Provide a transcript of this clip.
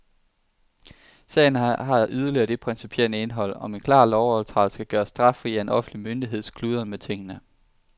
Sagen har yderligere det principielle indhold, om en klar lovovertrædelse kan gøres straffri af en offentlig myndigheds kludren med tingene.